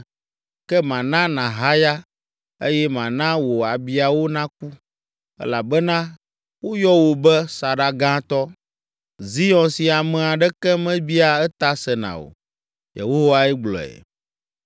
Ke mana nàhaya, eye mana wò abiawo naku, elabena woyɔ wò be saɖagatɔ, Zion si ame aɖeke mebiaa eta sena o.’ ” Yehowae gblɔe.